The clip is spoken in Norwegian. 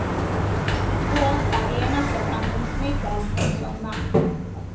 Båt er eneste fremkomstmiddel om sommeren.